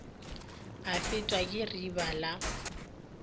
a fetwa ke riba la